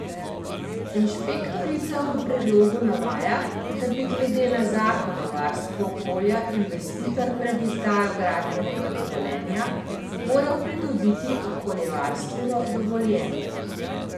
Inšpektorica v predlogu navaja, da bi glede na zakon o varstvu okolja investitor pred izdajo gradbenega dovoljenja moral pridobiti okoljevarstveno dovoljenje.